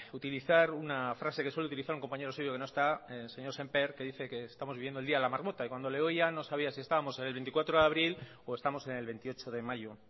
utilizar una frase que suele utilizar un compañero suyo que no está el señor sémper que dice que estamos viviendo el día de la marmota y cuando le oía no sabía si estábamos en el veinticuatro de abril o estamos en el veintiocho de mayo